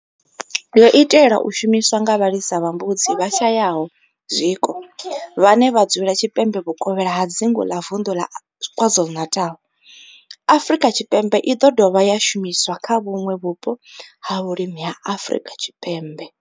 yo itelwa u shumiswa nga vhalisa vha mbudzi vhashayaho zwiko vhane vha dzula tshipembe vhuvokhela ha dzingu la Vundu la KwaZulu-Natal, Afrika Tshipembe i do dovha ya shumiswa kha vhuṋwe vhupo ha vhulimi ha Afrika Tshipembe.